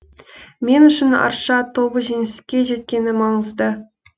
мен үшін арша тобы жеңіске жеткені маңызды